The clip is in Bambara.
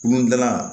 Kulonkɛ la